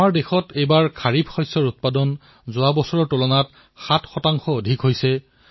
আমাৰ দেশত এইবাৰ খাৰিফ ফচল চপোৱাৰ পৰিমাণ যোৱা বছৰৰ তুলনাত ৭ শতাংশ অধিক হৈছে